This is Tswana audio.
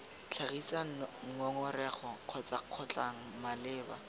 tlhagisa ngongorego kgotsa kgotlhang malebana